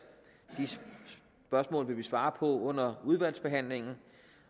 de spørgsmål vil vi svare på under udvalgsbehandlingen